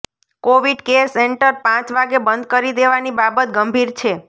Covid care centre પાંચ વાગે બંધ કરી દેવાની બાબત ગંભીર છે